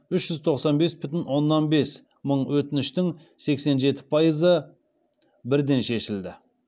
үш жүз тоқсан бес бүтін оннан бес мың өтініштің сексен жеті пайызы бірден шешілді